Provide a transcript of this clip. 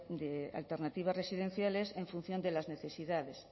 de alternativas residenciales en función de las necesidades